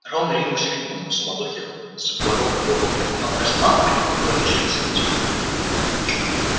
рон ринулся к нему но в суматохе сборов его попытку напасть на малфоя никто кроме друзей не заметил